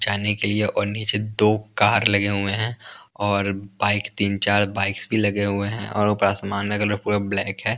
जाने के लिए और नीचे दो कार लगे हुए हैं और बाइक तीन चार बाइक्स भी लगे हुए हैं और ऊपर आसमान का कलर पूरा ब्लैक है।